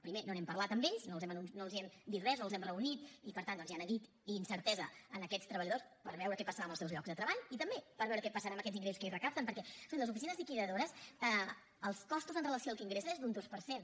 primer no n’hem parlat amb ells no els n’hem dit res no els hem reunit i per tant doncs hi ha neguit i incertesa en aquests treballadors per veure què passarà amb els seus llocs de treball i també per veure què passarà amb aquests ingressos que ells recapten perquè escolti les oficines liquidadores els costos amb relació al que ingressen és d’un dos per cent